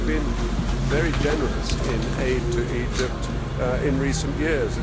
We have been very generous in aid to Egypt in recent years.